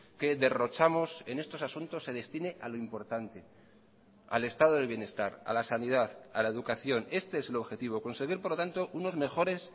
que derrochamos en estos asuntos se destine a lo importante al estado del bienestar a la sanidad a la educación este es el objetivo conseguir por lo tanto unos mejores